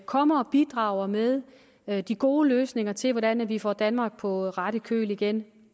kommer og bidrager med med de gode løsninger til hvordan vi får danmark på ret køl igen